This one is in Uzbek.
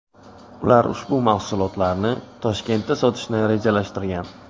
Ular ushbu mahsulotlarni Toshkentda sotishni rejalashtirgan.